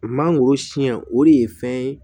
Mangoro siɲɛ o de ye fɛn ye